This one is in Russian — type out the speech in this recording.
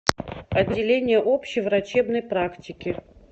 отделение общей врачебной практики